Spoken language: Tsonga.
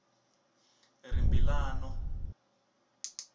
rimbilano